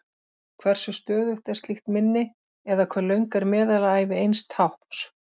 Hversu stöðugt er slíkt minni, eða hve löng er meðalævi eins tákns?